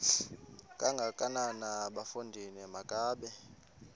kangakanana bafondini makabe